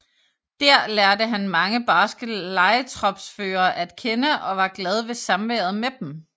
Dér lærte han mange barske lejetropsførere at kende og var glad ved samværet med dem